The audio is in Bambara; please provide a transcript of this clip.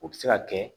U bɛ se ka kɛ